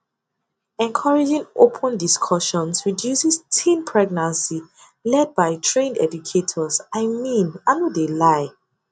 encouraging open discussions reduces teen pregnancy led by trained educators i mean i no de lie